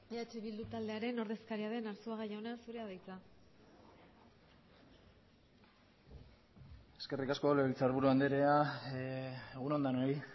eh bildu taldearen ordezkaria den arzuaga jauna zurea da hitza eskerrik asko legebiltzarburu andrea egun on denoi